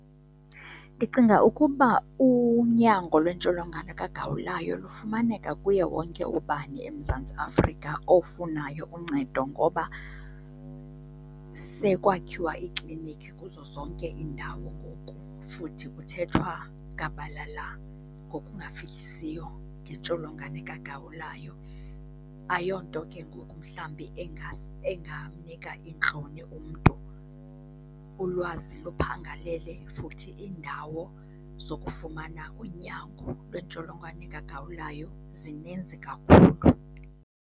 Ndicinga ukuba unyango lwentsholongwane kagawulayo lufumaneka kuye wonke ubani eMzantsi Afrika ofunayo uncedo ngoba sekwakhiwa iiklinikhi kuzo zonke iindawo ngoku, futhi kuthethwa gabalala ngokungafihlisiyo ngentsholongwane kagawulayo. Ayiyo nto ke ngoku mhlawumbi engamnika iintloni umntu. Ulwazi luphangalele futhi iindawo zokufumana unyango lwentsholongwane kagawulayo zininzi kakhulu.